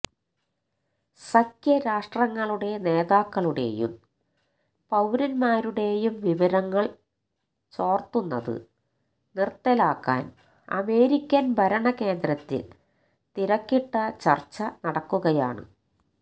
സഖ്യ രാഷ്ട്രങ്ങളുടെ നേതാക്കളുടെയും പൌരന്മാരുടെയും വിവരങ്ങള് ചോര്ത്തുന്നത് നിര്ത്തലാക്കാന് അമേരിക്കന് ഭരണ കേന്ദ്രത്തില് തിരക്കിട്ട ചര്ച്ച നടക്കുകയാണ്